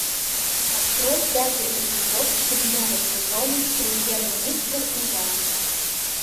открой пятый эпизод седьмого сезона премьер министр и я